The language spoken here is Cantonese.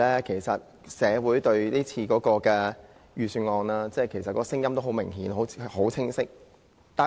其實社會對今次的預算案的聲音很明顯、很清晰。